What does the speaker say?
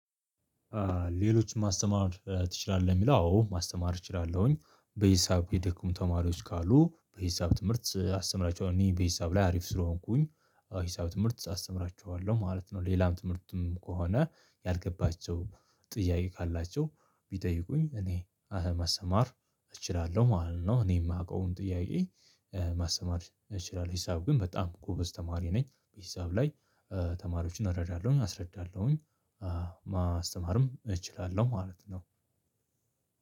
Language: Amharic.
ሌሎችን ማስተማር ትችላለህ? የሚለው አዎ ማስተማር እችላለሁኝ በሂሳብ የደከሙ ተማሪዎች ካሉ በሂሳብ ትምህርት አስተምራቸዋለሁ እኔ በሂሳብ ላይ አሪፍ ስለሆንኩኝ ሂሳብ ትምህርት አስተምራቸዋለሁ ማለት ነው። ሌላም ትምህርትም ከሆነ ያልገባቸው ጥያቄ ካላቸው ቢጠይቁኝ እኔ ማስማር እችላለሁ ማለት ነው እኔ የማውቀውን ጥያቄ ማሰተማር እችላለሁ ሂሳብ ግን በጣም ጎበዝ ተማሪ ነኝ በሂሳብ ላይ ተማሪዎችን እረዳለሁም አስረዳለሁም። ማስተማርም እችላለሁ ማለት ነው።